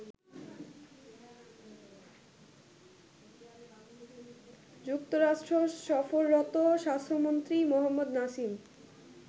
যুক্তরাষ্ট্র সফররত স্বাস্থ্যমন্ত্রী মোহাম্মদ নাসিম